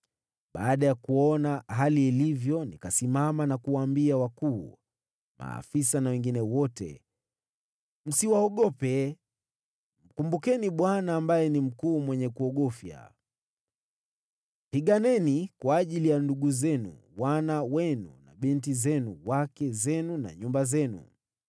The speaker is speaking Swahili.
Baada ya kuona hali ilivyo, nikasimama na kuwaambia wakuu, maafisa na wengine wote, “Msiwaogope. Mkumbukeni Bwana, ambaye ni mkuu mwenye kuogofya. Piganeni kwa ajili ya ndugu zenu, wana wenu na binti zenu, wake zenu na nyumba zenu.”